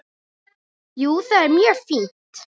Jú, það er mjög fínt.